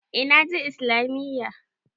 Eh na je Islamiyya.